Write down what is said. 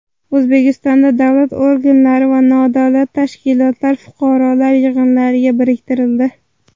O‘zbekistonda davlat organlari va nodavlat tashkilotlar fuqarolar yig‘inlariga biriktirildi.